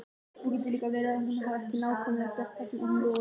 Það getur líka verið að hún hafi ekki nákvæmlega gert það sem hún lofaði mér.